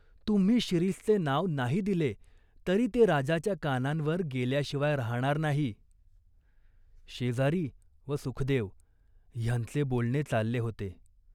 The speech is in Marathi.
तुम्ही शिरीषचे नाव नाही दिले तरी ते राजाच्या कानांवर गेल्याशिवाय राहणार नाही." शेजारी व सुखदेव ह्यांचे बोलणे चालले होते.